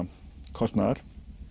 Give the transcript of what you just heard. kostnaðar